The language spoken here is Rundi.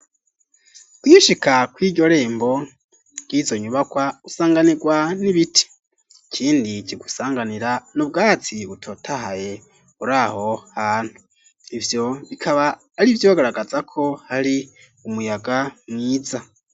kwishika kw'iryo rembo, ry'izo nyubakwa usanganirwa n'ibiti ,ikindi kigusanganira n'ubwatsi butotahaye, uraho hantu ivyo bikaba ari vyo bigaragaza ko hari umuyaga mwiza.